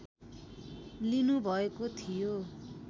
लिनु भएको थियो